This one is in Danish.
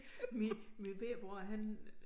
Min min bette bror han